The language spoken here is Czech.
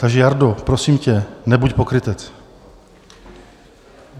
Takže Jardo, prosím tě, nebuď pokrytec.